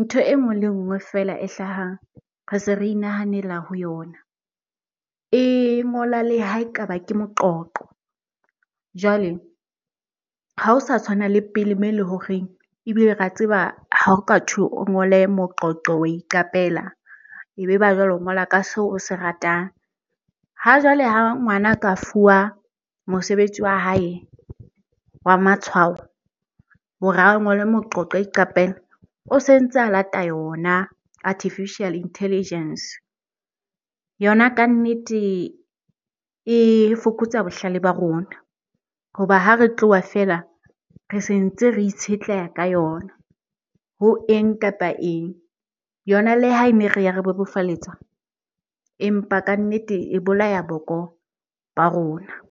ntho e nngwe le nngwe feela e hlahang, re se re inahanela ho yona. E ngola le hae kaba ke moqoqo. Jwale ha o sa tshwana le pele moo e le horeng ebile re a tseba hao katho o ngole moqoqo wa iqapela, ebe ba jwale o ngola ka seo o se ratang. Ha jwale ha ngwana ka fuwa mosebetsi wa hae wa matshwao hore a ngole moqoqo, a iqapela. O se ntse a lata yona artificial intelligence. Yona kannete e fokotsa bohlale ba rona hoba ha re tloha feela re sentse re itshetleha ka yona ho eng kapa eng. Yona le ha ene re ya re bebofaletsa empa kannete e bolaya boko ba rona.